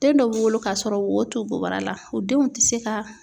Den dɔw wolo kasɔrɔ wo t'u bobara la o denw tɛ se ka.